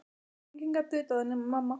Enginn gat vitað það nema mamma.